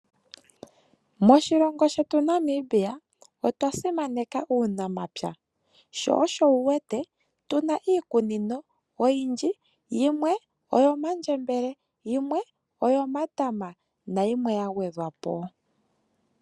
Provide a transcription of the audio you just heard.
Moshilongo shetu Namibia otwa simaneka uunamapya. Sho osho wuwete tuna iikunino oyindji, yimwe oyo mandjembele, yimwe oyomatama nayimwe yagwedhwapo.